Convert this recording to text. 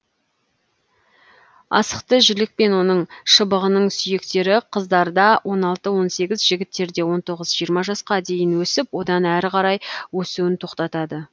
асықты жілік пен оның шыбығының сүйектері қыздарда он алты он сегіз жігіттерде он тоғыз жиырма жасқа дейін өсіп одан әрі қарай өсуін тоқтатады